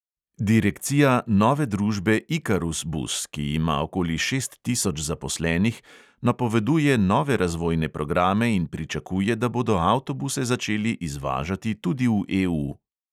Direkcija nove družbe ikarus bus, ki ima okoli šest tisoč zaposlenih, napoveduje nove razvojne programe in pričakuje, da bodo avtobuse začeli izvažati tudi v EU.